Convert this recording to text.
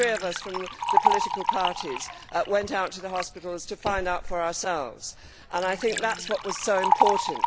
The three of us from the political parties went out to the hospitals to find out for ourselves, and I think that was what was so important.